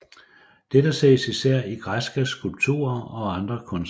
Dette ses især i græske skulpturer og andre kunstværker